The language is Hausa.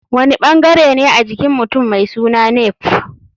Wani ɓangarene a jikin mutum mai suna nape?